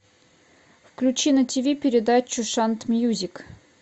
включи на тв передачу шант мьюзик